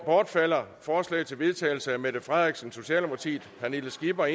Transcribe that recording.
bortfalder forslag til vedtagelse af mette frederiksen pernille skipper